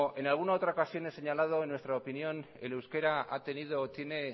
en alguna otra ocasión he señalado en nuestra opinión el euskera ha tenido o tiene